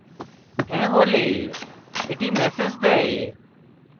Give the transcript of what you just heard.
হ্যাঁ হলে এটি ম্যাসেজ দেয়